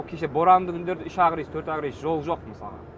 ол кеше боранды күндері үш ақ рейс төрт ақ рейс жол жоқ мысалға